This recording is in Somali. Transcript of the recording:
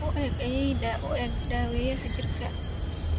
U gee ayeeyada u gee daaweeyaha jirka